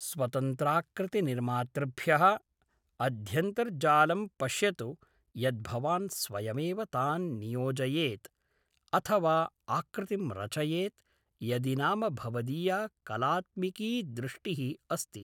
स्वतन्त्राकृतिनिर्मातृभ्यः अध्यन्तर्जालं पश्यतु यद् भवान् स्वयमेव तान् नियोजयेत् अथ वा आकृतिं रचयेत् यदि नाम भवदीया कलाऽऽत्मिकी दृष्टिः अस्ति।